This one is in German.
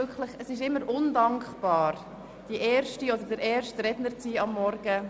Es ist immer undankbar, am Morgen der erste Redner oder die erste Rednerin zu sein.